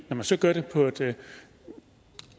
når man så gør det på et